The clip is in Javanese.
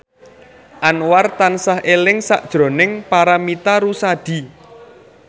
Anwar tansah eling sakjroning Paramitha Rusady